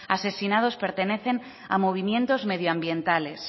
asesinados pertenecen a movimientos medioambientales